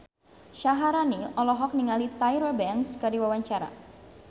Syaharani olohok ningali Tyra Banks keur diwawancara